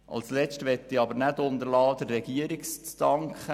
Als Letztes möchte ich der Regierung danken.